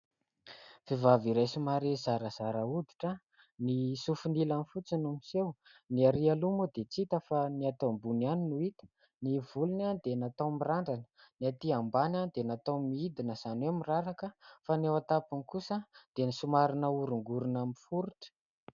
Vehivavy iray : somary zarazara hoditra, ny sofiny ilany fotsiny no miseho. Ny arỳ aloha moa dia tsy hita fa ny ato ambony ihany no hita. Ny volony dia nataony mirandrana, ny atỳ ambany dia nataony midina izany hoe miraraka, fa ny eo an-tampony kosa dia somary nahorongorona miforotra.